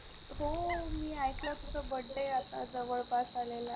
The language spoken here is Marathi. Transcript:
हो मी ऐकला तुझा Birthday आता जवळ पास आलेलं आहे.